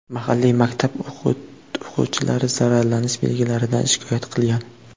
Mahalliy maktab o‘quvchilari zaharlanish belgilaridan shikoyat qilgan.